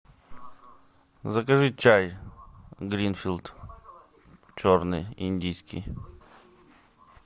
закажи чай гринфилд черный индийский